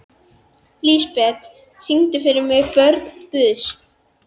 Lísebet, syngdu fyrir mig „Börn Guðs“.